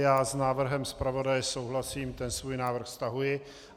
Já s návrhem zpravodaje souhlasím, ten svůj návrh stahuji.